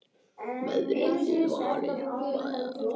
Verðið þið varir við það?